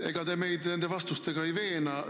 Ega te meid nende vastustega ei veena.